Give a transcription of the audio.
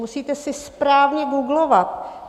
Musíte si správně googlovat.